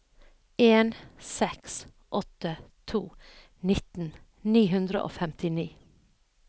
en seks åtte to nitten ni hundre og femtini